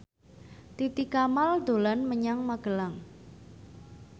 Titi Kamal dolan menyang Magelang